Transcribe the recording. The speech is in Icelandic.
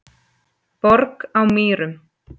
Borg á Mýrum